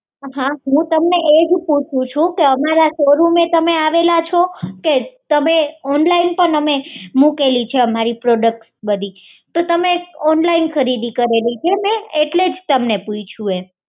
હા હુ તમને એ જ પૂછું છું કે અમારા શોરૂમે તમે આવેલા છો કે અમે ઓનલાઇન પણ મુકેલી છે અમારી પ્રોડક્ટ બધી તો તમે ઓનલાઇન ખરીદી કરેલી છે મે એટલે જ તમને પૂછ્યું એમ